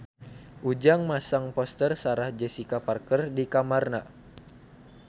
Ujang masang poster Sarah Jessica Parker di kamarna